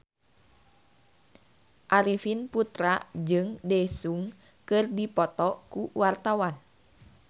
Arifin Putra jeung Daesung keur dipoto ku wartawan